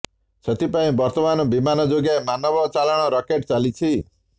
ସେଥିପାଇଁ ବର୍ତ୍ତମାନ ବିମାନ ଯୋଗେ ମାନବ ଚାଲାଣ ରାକେଟ ଚାଲିଛି